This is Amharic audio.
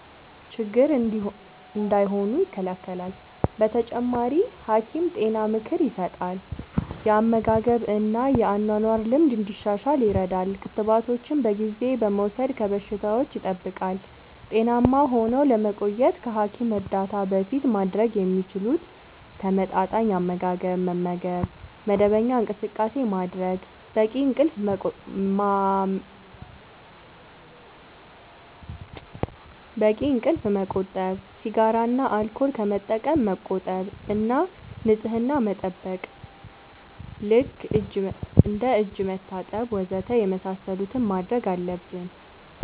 ችግር እንዳይሆኑ ይከላከላል። በተጨማሪ፣ ሐኪም ጤና ምክር ይሰጣል፣ የአመጋገብ እና የአኗኗር ልምድ እንዲሻሻል ይረዳል። ክትባቶችን በጊዜ በመውሰድ ከበሽታዎች ይጠብቃል። ጤናማ ሆነው ለመቆየት ከሐኪም እርዳታ በፊት ማድረግ የሚችሉት፦ ተመጣጣኝ አመጋገብ መመገብ፣ መደበኛ እንቅስቃሴ ማድረግ፣ በቂ እንቅልፍ ማመቆጠብ፣ ሲጋራ እና አልኮል ከመጠቀም መቆጠብ እና ንጽህና መጠበቅ (እጅ መታጠብ ወዘተ) የመሳሰሉትን ማድረግ አለብን።